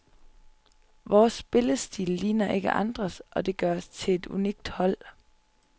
Vores spillestil ligner ikke andres, og det gør os til et unikt hold.